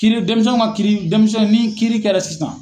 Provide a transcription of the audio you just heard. Kiiri dɛmisɛnw ka kiiri, dɛnmisɛn ni kiiri kɛra sisan.